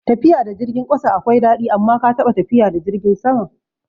Tafiya da jirgin ƙasa akwai daɗi, amma ka taɓa tafiya da jirgin sama?